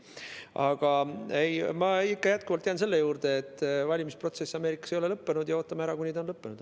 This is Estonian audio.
Aga ei, ma jätkuvalt jään selle juurde, et valimisprotsess Ameerikas ei ole lõppenud, ja ootame ära, kuni ta on lõppenud.